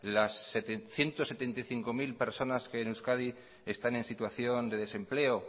las ciento setenta y cinco mil personas que en euskadi están en situación de desempleo